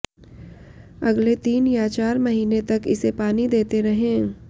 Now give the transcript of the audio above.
अगले तीन या चार महीने तक इसे पानी देते रहें